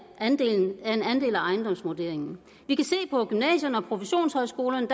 andel af ejendomsvurderingen på gymnasierne og professionshøjskolerne